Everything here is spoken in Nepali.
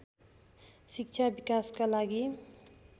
शिक्षा विकासका लागि